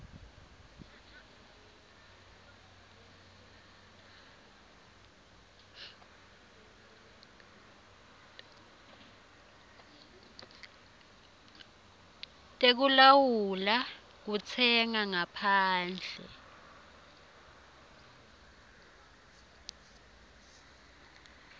tekulawula kutsenga ngaphandle